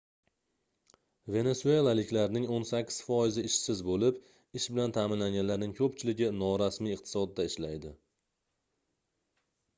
venesuelaliklarning oʻn sakkiz foizi ishsiz boʻlib ish bilan taʼminlanganlarning koʻpchiligi norasmiy iqtisodda ishlaydi